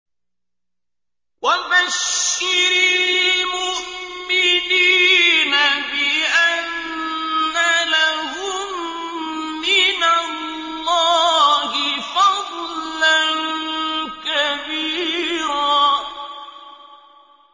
وَبَشِّرِ الْمُؤْمِنِينَ بِأَنَّ لَهُم مِّنَ اللَّهِ فَضْلًا كَبِيرًا